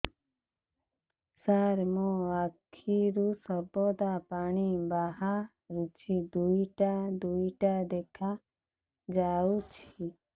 ସାର ମୋ ଆଖିରୁ ସର୍ବଦା ପାଣି ବାହାରୁଛି ଦୁଇଟା ଦୁଇଟା ଦେଖାଯାଉଛି